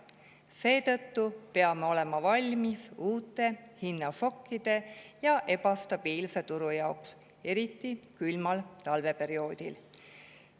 Seetõttu peame olema valmis uuteks hinnašokkideks ja ebastabiilseks turuks, eriti külmal talveperioodil.